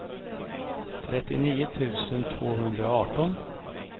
trettionio tusen tvåhundraarton